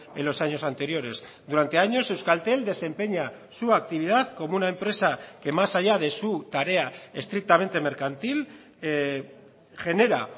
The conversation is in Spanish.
en los años anteriores durante años euskaltel desempeña su actividad como una empresa que más allá de su tarea estrictamente mercantil genera